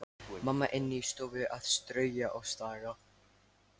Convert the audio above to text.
Mamma inni í stofu að strauja og staga.